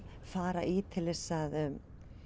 fara í til að